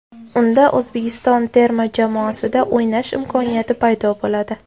Unda O‘zbekiston terma jamoasida o‘ynash imkoniyati paydo bo‘ladi.